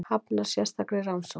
Hafnar sérstakri rannsókn